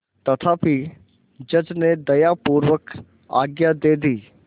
तथापि जज ने दयापूर्वक आज्ञा दे दी